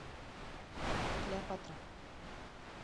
клеопатра